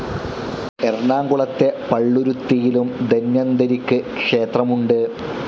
എറണാകുളത്തെ പള്ളുരുത്തിയിലും ധന്വന്തരിക്ക് ക്ഷേത്രമുണ്ട്.